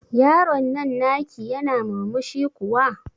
Yaron nan na ki yana murmushi kuwa?